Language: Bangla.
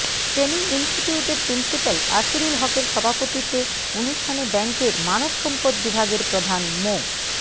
ট্রেনিং ইনস্টিটিউটের প্রিন্সিপাল আসিরুল হকের সভাপতিত্বে অনুষ্ঠানে ব্যাংকের মানবসম্পদ বিভাগের প্রধান মো